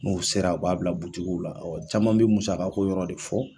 N'u sera a b'a bila la caman bi musakako yɔrɔ de fɔ.